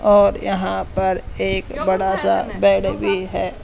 और यहां पर एक बड़ा सा बेड भी है।